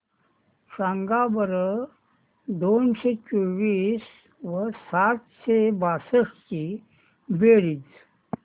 सांगा बरं दोनशे चोवीस व सातशे बासष्ट ची बेरीज